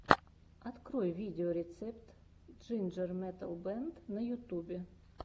открой видеорецепт джинджер метал бэнд на ютубе